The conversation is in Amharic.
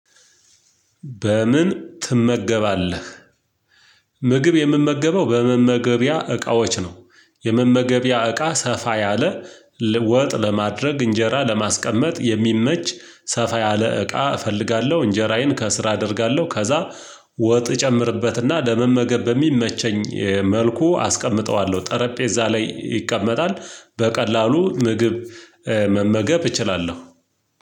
በምን ትመገባለህ? ምግብ የምመገበው በመመገቢያ እቃዎች ነው። የመመገቢያ እቃ ሰፋ ያለ ወጥ ለማድረግ እንጀራ ለማስቀመጥ የሚመች ሰፋ ያለ እቃ እፈልጋለሁ። እንጀራዬን ከስር አደርጋለሁ ከዛ ወጥ እጨምርበትና ለመመገብ በሚመቸኝ መልኩ አስቀምጠዋለሁ። ጠረጴዛ ላይ ይቀመጣል። በቀላሉ ምግብ መመገብ እችላለሁ።